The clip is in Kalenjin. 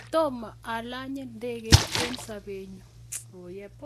tomo alanye ndekeit eng sobenyu